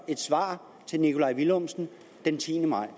det svar til herre nikolaj villumsen den tiende maj